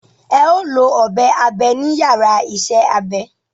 Ẹ ó lọ ọ̀bẹ abe ní yàrá isẹ́ abẹ